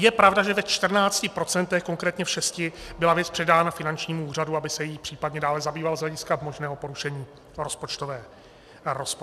Je pravda, že ve čtrnácti procentech, konkrétně v šesti (?), byla věc předána finančnímu úřadu, aby se jí případně dále zabýval z hlediska možného porušení rozpočtové kázně.